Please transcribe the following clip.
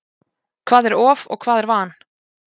Hvað er of og hvað er van?